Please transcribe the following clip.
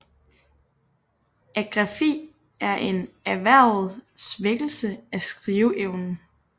Agrafi er en erhvervet svækkelse af skriveevnen